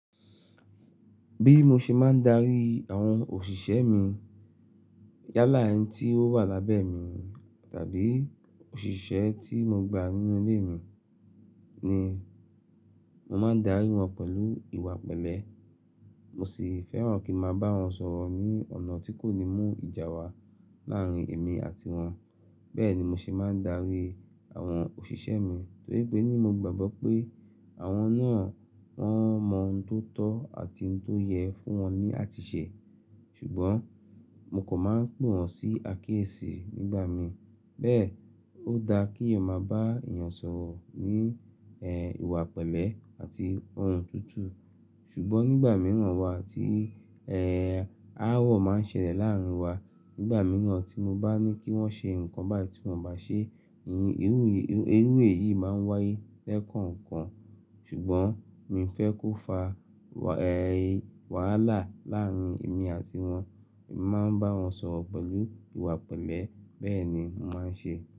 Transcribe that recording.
Bí mo ṣe máa ń darí àwọn òṣìṣẹ́ mi yálà ẹni tí ó wà lábẹ́ mi tàbí òṣìṣẹ́ tí mo gba nínú ilé mi ni, mo máa darí wọn pẹ̀lú ìwà pẹ̀lẹ́. Mo sì fẹ́ràn kí ma bá wọn sọ̀rọ̀ ní ọ̀nà tí kò ní mú ìjà wá láàárín èmi àti wọn. Bẹ́ẹ̀ ni mo ṣe máa ń darí àwọn òṣìṣẹ́ mi torípé ní mo gbàgbọ́ pé àwọn náà wọ́n mọ ohun tó tọ́ àti ohun tó yẹ fún wọn ní àtiṣẹ́. Ṣùgbọ́n mo kò máa ń pè wọ́n sí àkíyèsí nígbà mi. Bẹ́ẹ̀, ó dáa kí èèyàn máa bá èèyàn sọ̀rọ̀ ní ẹ́ ìwà pẹ̀lẹ́ àti ohùn tuntun. Ṣùgbọ́n nígbà mìíràn wa tí ẹ́ ááwọ̀ máa ń ṣẹlẹ̀ láàárín wa, nígbà mìíràn tí mo bá ní kí wọ́n ṣe nǹkan bá ti wọn bá ṣe, ìhì irú yìí irú èyí máa ń wáyé lẹ́kọ̀ọ̀kan. Ṣùgbọ́n mi ò fẹ́ kó fa ẹ́ wàhálà láàárín èmi àti wọn. Mo máa ń bá wọn sọ̀rọ̀ pẹ̀lú ìwà pẹ̀lẹ́. Bẹ́ẹ̀ ni mo máa ń ṣe.